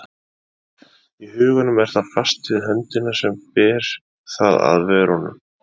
Í huganum er það fast við höndina sem ber það að vörunum.